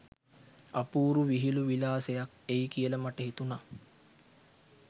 අපූරු විහිළු විලාසයක් එයි කියල මට හිතුණා